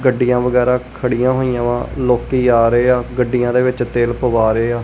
ਗੱਡੀਆਂ ਵਗੈਰਾ ਖੜੀਆਂ ਹੋਈਆਂ ਵਾ ਲੋਕੀ ਜਾ ਰਹੇ ਆ ਗੱਡੀਆਂ ਦੇ ਵਿੱਚ ਤੇਲ ਪਵਾ ਰਹੇ ਆ।